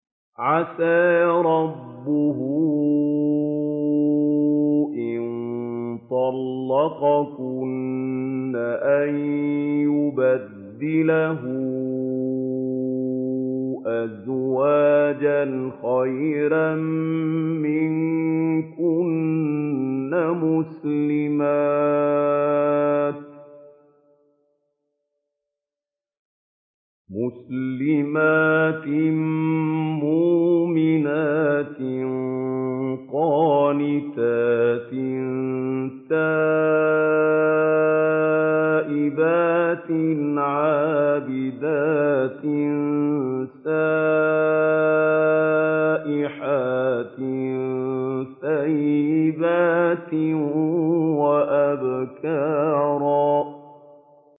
عَسَىٰ رَبُّهُ إِن طَلَّقَكُنَّ أَن يُبْدِلَهُ أَزْوَاجًا خَيْرًا مِّنكُنَّ مُسْلِمَاتٍ مُّؤْمِنَاتٍ قَانِتَاتٍ تَائِبَاتٍ عَابِدَاتٍ سَائِحَاتٍ ثَيِّبَاتٍ وَأَبْكَارًا